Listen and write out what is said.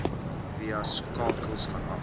via skakels vanaf